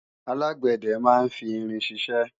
alágbẹ̀dẹ máa ń fi irin ṣiṣẹ́